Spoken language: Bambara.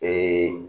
Ee